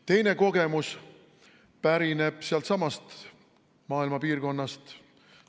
Teine kogemus pärineb sellestsamast maailma piirkonnast.